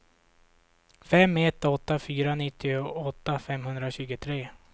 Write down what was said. fem ett åtta fyra nittioåtta femhundratjugotre